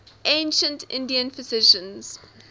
ancient indian physicians